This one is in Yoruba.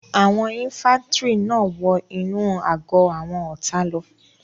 Àwọn ifàntiri náà wọ inú àgọ́ àwọn ọ̀tá lọ